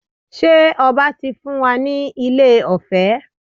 Ṣe ọba ti fún wa ní ilẹ̀ ọ̀fẹ́?